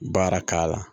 Baara k'a la